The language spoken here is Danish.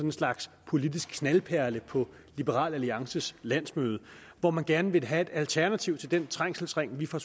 en slags politisk knaldperle på liberal alliances landsmøde hvor man gerne ville have et alternativ til den trængselsring vi fra